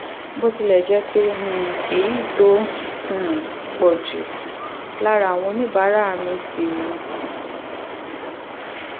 bó tilẹ̀ jẹ́ pé um èyí tó um pọ̀ jù lára àwọn oníbàárà mi ti